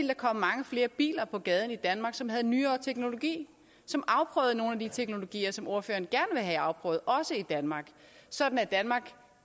der komme mange flere biler på gaden i danmark som havde nyere teknologi som afprøvede nogle af de teknologier som ordføreren gerne vil have afprøvet også i danmark sådan at danmark